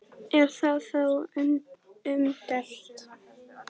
Er það þó umdeilt